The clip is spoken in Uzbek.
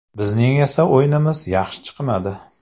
Bizning esa o‘yinimiz yaxshi chiqmadi.